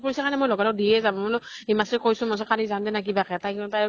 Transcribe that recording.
মনত পৰিছে কাৰণে লগা লগ দিয়ে যাম । মই বুলো হিমাক্ষী ক কৈছো, কালি যাম দে না কিবা কে । তাই আৰু